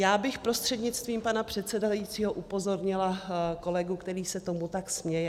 Já bych prostřednictvím pana předsedajícího upozornila kolegu, který se tomu tak směje.